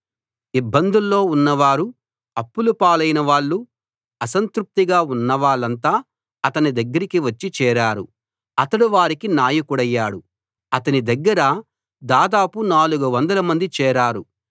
ఇబ్బందుల్లో ఉన్నవారు అప్పుల పాలైన వాళ్ళు అసంతృప్తిగా ఉన్నవాళ్ళంతా అతని దగ్గరికి వచ్చి చేరారు అతడు వారికి నాయకుడయ్యాడు అతని దగ్గర దాదాపు 400 మంది చేరారు